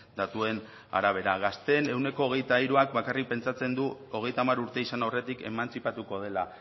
datuen arabera gazteen ehuneko hogeita hiruak bakarrik pentsatzen du hogeita hamar urte izan aurretik emantzipatuko dela